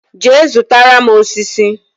Jee zụtara m osisi!